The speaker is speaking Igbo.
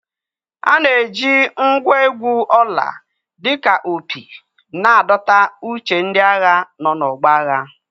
A na-eji ngwa egwu ọla dị ka opi na-adọta uche ndị agha nọ n'ọgbọ agha.